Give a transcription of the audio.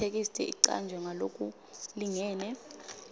itheksthi icanjwe ngalokulingene